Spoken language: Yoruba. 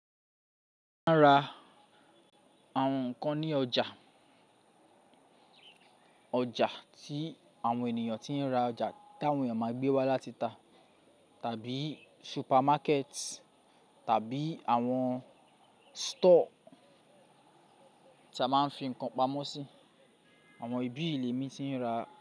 Máa ń ra àwọn nǹkan ní ọjà, ọjà tí àwọn ènìyàn tí ń ra ọjà tí àwọn ènìyàn máa gbé wá láti ta tàbí supermarket tàbí àwọn store tí a máa ń fi nǹkan pamọ́ sí. Àwọn ibi ì l'èmi tí ń ra.